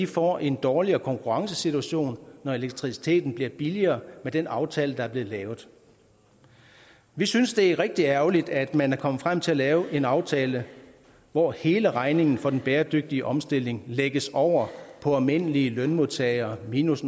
får en dårligere konkurrencesituation når elektriciteten bliver billigere med den aftale der er blevet lavet vi synes det er rigtig ærgerligt at man er kommet frem til at lave en aftale hvor hele regningen for den bæredygtige omstilling lægges over på almindelige lønmodtagere minus